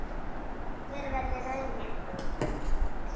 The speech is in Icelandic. Hver verður raunin?